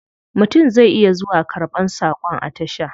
Mutum zai iya zuwa karban sakon a tasha.